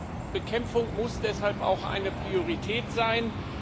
Terrorbekämpfung muss deshalb auch eine Priorität sein.